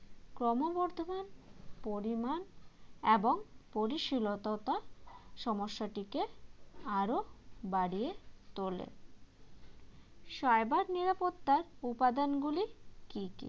ক্রমবর্ধমান পরিমাণ এবং পরিশীলতা সমস্যাটিকে আরও বাড়িয়ে তোলে cyber নিরাপত্তার উপাদানগুলি কী